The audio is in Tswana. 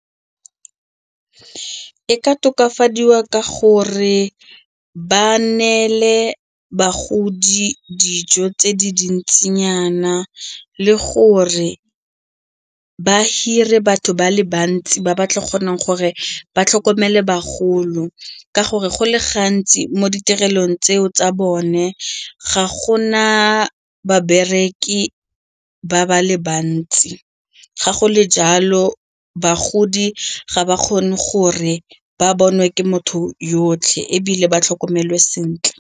E ka tokafadiwa ka gore ba neele bagodi dijo tse di dintsinyana le gore ba hire batho ba le bantsi ba ba tla kgonang gore ba tlhokomele bagolo ka gore go le gantsi mo ditirelong tseo tsa bone ga gona babereki ba ba le bantsi, ga go le jalo bagodi ga ba kgone gore ba bonwe ke motho yotlhe ebile ba tlhokomelwe sentle.